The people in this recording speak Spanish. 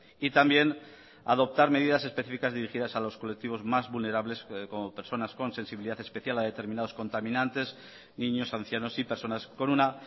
y también adoptar medidas especificas dirigidas a los colectivos más vulnerables como personas con sensibilidad especial a determinados contaminantes niños ancianos y personas con una